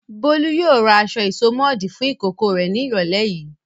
Bólú yóò ra aṣọ ìsomọ́ọ̀dí fún ìkókó rẹ̀ ní ìrọ́lẹ́ yìí.